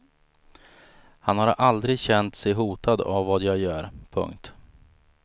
Han har aldrig känt sig hotad av vad jag gör. punkt